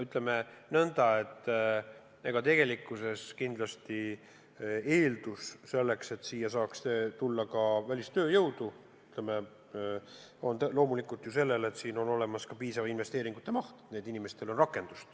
Ütleme nõnda, et tegelikkuses on eeldus selleks, et siia saaks tulla ka välistööjõudu, loomulikult see, et siin on olemas ka piisav investeeringute maht, et nendel inimestel on rakendust.